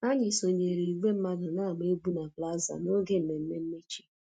Anyị sonyeere igwe mmadụ na-agba egwu na plaza n'oge mmemme mmechi